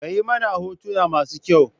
Kayi mana hotona masu kyau?